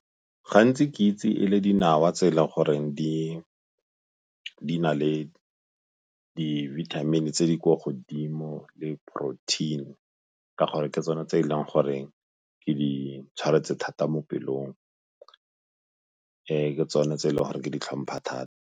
Gantsi ke itse e le dinawa tse e le goreng di na le di-vitamin-i tse di kwa godimo le protein ka gore ke tsone tse e leng gore ke di tshwanetse thata mo pelong. Ke tsone tse e leng gore ke di tlhompha thata.